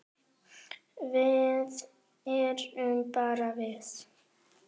Við erum bara við